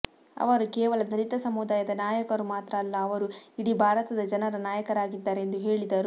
ಅವರು ಕೇವಲ ದಲಿತ ಸಮುದಾಯದ ನಾಯಕರು ಮಾತ್ರ ಅಲ್ಲ ಅವರು ಇಡೀ ಭಾರತದ ಜನರ ನಾಯಕರಾಗಿದ್ದಾರೆ ಎಂದು ಹೇಳಿದರು